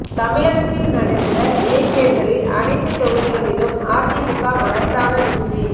தமிழகத்தில் நடந்த இடை தேர்தலில் அணைத்து தொகுதிகளிலும் ஆ தி மு க மகத்தான வெற்றி